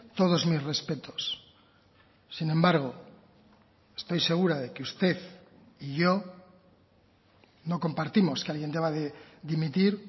todos mis respetos sin embargo estoy segura de que usted y yo no compartimos que alguien deba de dimitir